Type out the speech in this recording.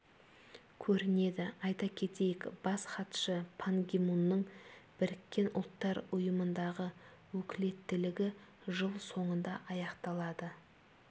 көрінеді айта кетейік бас хатшы пан ги мунның біріккен ұлттар ұйымындағы өкілеттілігі жыл соңында аяқталады